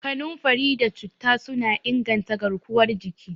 Kanunfari da Citta suna inganta garkuwar jiki.